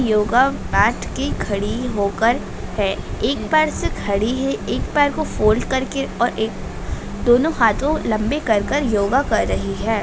Yoga mat की खड़ी होकर है एक पैर से खड़ी है एक पैर को फोल्ड करके और एक दोनों हाथों लंबे कर कर योगा कर रही है।